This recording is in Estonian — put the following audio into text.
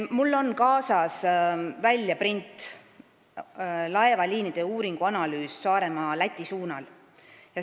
Mul on kaasas väljaprint dokumendist "Laevaliinide uuringuanalüüs Saaremaa-Läti suunal".